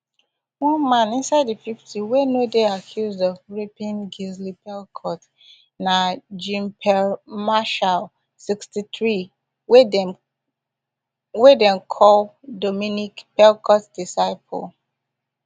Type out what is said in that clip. one man inside di fifty wey no dey accused of raping gisle pelicot na jeanpierre marchal sixty-three wey dem wey dem call dominique pelicot disciple